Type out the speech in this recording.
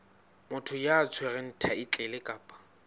motho ya tshwereng thaetlele kapa